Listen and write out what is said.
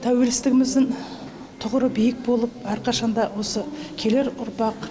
тәуелсіздігіміздің тұғыры биік болып әрқашан да осы келер ұрпақ